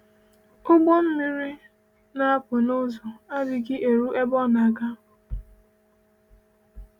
Ụgbọ mmiri na-apụ n’ụzọ adịghị eru ebe ọ na-aga.